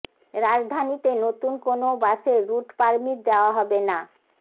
রাজধানীতে নতুন কোনও বাসের রুট পারমিট দেওয়া হবে না